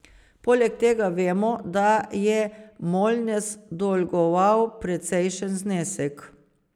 Poleg tega vemo, da je Molnes dolgoval precejšen znesek.